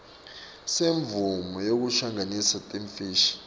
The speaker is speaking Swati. semvumo yekungenisa timfishi